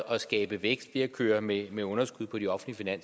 og skabe vækst ved at køre med med underskud på de offentlige